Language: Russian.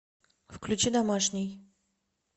включи домашний